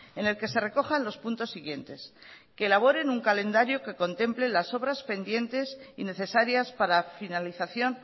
en el que se recojan los puntos siguientes que elaboren un calendario que contemple las obras pendientes y necesarias para finalización